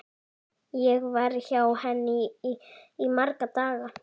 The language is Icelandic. Ég var hjá henni í marga daga.